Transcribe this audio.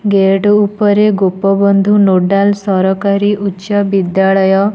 Gate ଉପରେ Gopabandhu nodal ସରକାରୀ ଉଚ୍ଚ ବିଦ୍ୟାଳୟ।